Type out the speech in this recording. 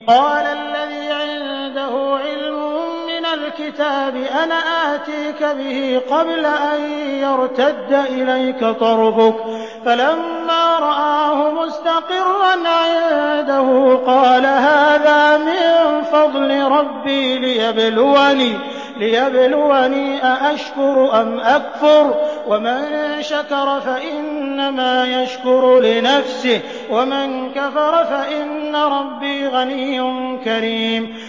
قَالَ الَّذِي عِندَهُ عِلْمٌ مِّنَ الْكِتَابِ أَنَا آتِيكَ بِهِ قَبْلَ أَن يَرْتَدَّ إِلَيْكَ طَرْفُكَ ۚ فَلَمَّا رَآهُ مُسْتَقِرًّا عِندَهُ قَالَ هَٰذَا مِن فَضْلِ رَبِّي لِيَبْلُوَنِي أَأَشْكُرُ أَمْ أَكْفُرُ ۖ وَمَن شَكَرَ فَإِنَّمَا يَشْكُرُ لِنَفْسِهِ ۖ وَمَن كَفَرَ فَإِنَّ رَبِّي غَنِيٌّ كَرِيمٌ